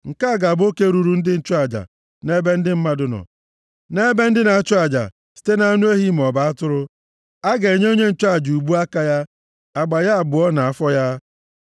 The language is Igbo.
Nke ga-abụ oke ruuru ndị nchụaja nʼebe ndị mmadụ nọ, nʼebe ndị na-achụ aja, site nʼanụ ehi maọbụ atụrụ: a ga-enye onye nchụaja ubu aka ya, agba ya abụọ na afọ ya.